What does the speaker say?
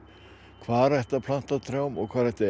hvar ætti að planta trjám og hvar ætti